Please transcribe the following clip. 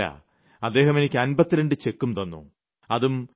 മാത്രമല്ല അദ്ദേഹം എനിയ്ക്ക് 52 ചെക്കും തന്നു